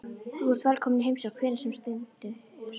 Þú ert velkominn í heimsókn hvenær sem er stundi Dadda.